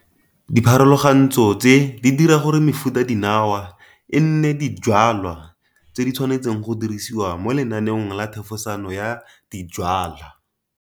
Dipharologantsho tse di dira gore mefutadinawa e nne dijwalwa tse di tshwanetseng go dirisiwa mo lenaneong la thefosano ya dijwala.